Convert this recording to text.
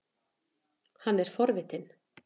Hann er forvitinn.